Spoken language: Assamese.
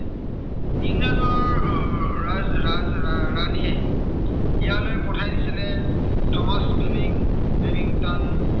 ইয়ালৈ পঠাই দিছিলে থমাস ডুনিং ব্যাবিংটন